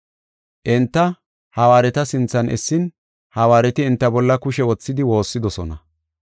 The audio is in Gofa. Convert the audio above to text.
Enta hawaareta sinthan essin, hawaareti enta bolla kushe wothidi woossidosona.